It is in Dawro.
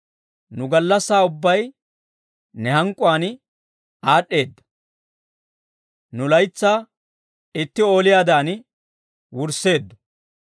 Nu gallassaa ubbay ne hank'k'uwaan aad'd'eeda; nu laytsaa itti ooliyaadan wurisseeddo.